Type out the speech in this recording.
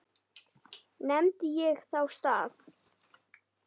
Nefndi ég þá stað.